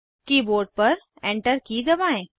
keyboard पर enter key दबाएं